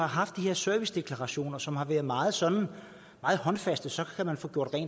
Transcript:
haft de her servicedeklarationer som har været meget sådan håndfaste så kan man få gjort